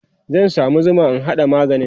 zan samu Zuma in haɗa maganin